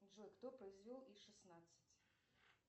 джой кто произвел и шестнадцать